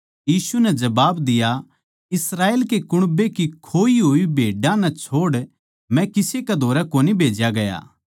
यीशु नै जबाब दिया इस्राएल कै कुण्बे की खोई होड़ भेड्डां नै छोड़ मै किसे कै धोरै कोनी भेज्या गया